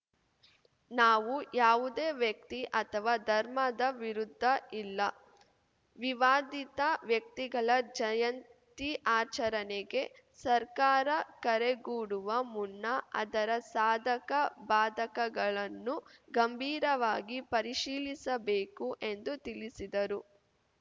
ನಾವು ಯಾವುದೇ ವ್ಯಕ್ತಿ ಅಥವಾ ಧರ್ಮದ ವಿರುದ್ಧ ಇಲ್ಲ ವಿವಾದಿತ ವ್ಯಕ್ತಿಗಳ ಜಯಂತಿ ಆಚರಣೆಗೆ ಸರ್ಕಾರ ಕರೆಗೂಡುವ ಮುನ್ನ ಅದರ ಸಾಧಕ ಬಾಧಕಗಳನ್ನು ಗಂಭೀರವಾಗಿ ಪರಿಶೀಲಿಸಬೇಕು ಎಂದು ತಿಳಿಸಿದರು